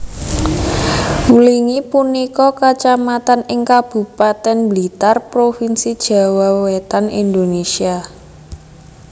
Wlingi punika kacamatan ing Kabupatèn Blitar Provinsi Jawa Wétan Indonésia